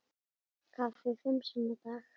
Kaffi fimm sinnum á dag.